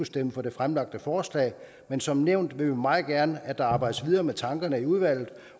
stemme for det fremsatte forslag men som nævnt vil vi meget gerne at der arbejdes videre med tankerne i udvalget